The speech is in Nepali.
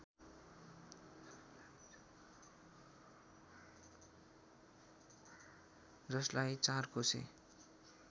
जसलाई चारकोसे